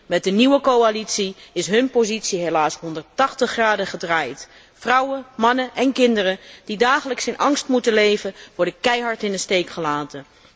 Met de nieuwe coalitie is hun positie helaas 180 graden gedraaid vrouwen, mannen en kinderen die dagelijks in angst moeten leven, worden keihard in de steek gelaten.